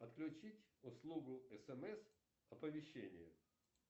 отключить услугу смс оповещение